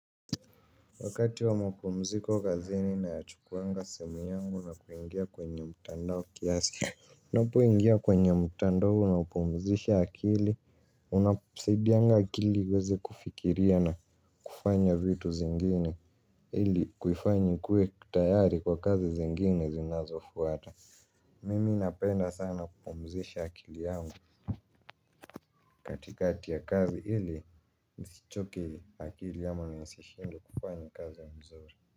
Wakati wa mapumziko kazini nayachukuwanga simu yangu na kuingia kwenye mtandao kiasi. Unapoingia kwenye mtandao unaupumzisha akili. Unasaidianga akili iweze kufikiria na kufanya vitu zingine ili kuifanya ikuwe tayari kwa kazi zingine zinazofuata. Mimi napenda sana kupumzisha akili yangu katikati ya kazi ili nisichoke akili ama nisishindwe kufanya kazi mzuri.